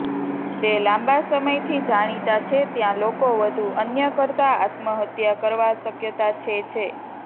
તે લાંબા સમયથી જાણીતા છે ત્યાં લોકો વધુ અન્ય કરતા આત્મહત્યા કરવા શક્યતા છે છે